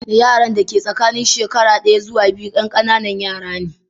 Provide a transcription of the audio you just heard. Yaran da ke tsakanin shekara ɗaya zuwa biyu 'yan ƙananan yara ne.